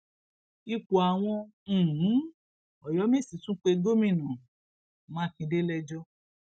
ipò àwọn um ọyọmẹsì tún pe gómìnà mákindè lẹjọ